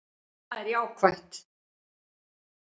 Það er jákvætt